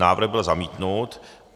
Návrh byl zamítnut.